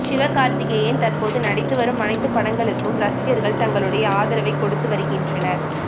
சிவகார்த்திகேயன் தற்போது நடித்து வரும் அணைத்து படங்களுக்கும் ரசிகர்கள் தங்களுடைய ஆதரவை கொடுத்து வருகின்றனர்